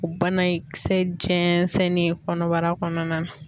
O banakisɛ jɛnsennen kɔnɔbara kɔnɔna na.